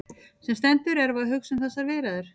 Sem sendur erum við að hugsa um þessar viðræður.